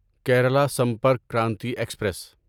Kerala Sampark Kranti express